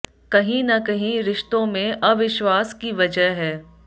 कहीं न कहीं रिश्तों में अविश्वास की वजह है